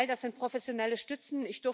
All das sind professionelle Stützen.